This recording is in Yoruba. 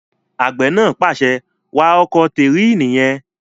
Àgbẹ̀ náà pàṣẹ, "wa ọkọ̀ tẹ̀ríìnì yẹn!"